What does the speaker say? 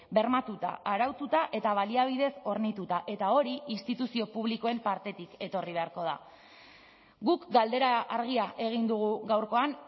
bermatuta araututa eta baliabideez hornituta eta hori instituzio publikoen partetik etorri beharko da guk galdera argia egin dugu gaurkoan